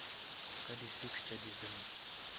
ka di six tša december